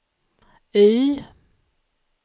Y